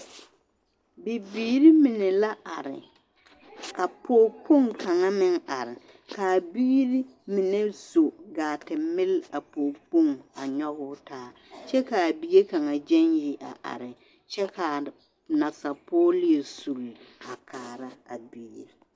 Bibiiri mine la are ka pɔɡekpoŋ kaŋ meŋ a are ka a biiri mine zo ɡaa te mili a pɔɡekpoŋ a nyɔɡe o taa kyɛ ka a bie kaŋ ɡyaŋ yi a are kyɛ ka nasapɔɡe leɛ suli kaara a bie.